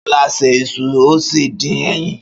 Ṣọlá se iṣu ó sì dín ẹyin.